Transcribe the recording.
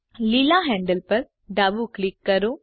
લીલા હેન્ડલ પર ડાબું ક્લિક કરો